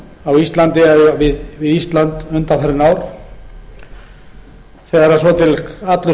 á íslandi eða við ísland undanfarin ár þegar svo til allur